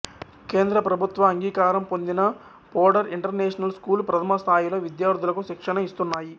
కేంద్ర ప్రభుత్వ అంగీకారం పొందిన పోడర్ ఇంటర్నేషనల్ స్కూల్ ప్రథమస్థాయిలో విద్యార్థులకు శిక్షణ ఇస్తున్నాయి